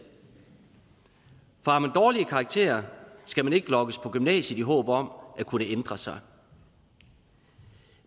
for har man dårlige karakterer skal man ikke lokkes på gymnasiet i håb om at kunne ændre sig